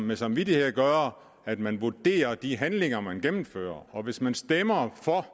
med samvittighed at gøre at man vurderer de handlinger man gennemfører og hvis man stemmer for at